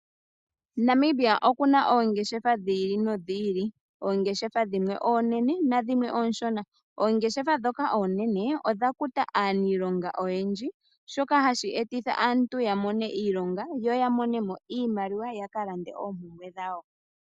Namibia okuna oongeshefa dhi ili nodhi ili . Oongeshefa dhimwe oonene nadhimwe oonshona. Oongeshefa ndhoka oonene odha kuta aaniilonga oyendji, shoka hashi etitha aantu yamone iilonga, yo yamonemo iimaliwa yakalande oompumbwe dhawo.